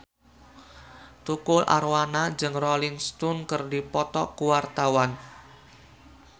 Tukul Arwana jeung Rolling Stone keur dipoto ku wartawan